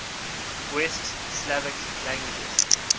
west slavic languages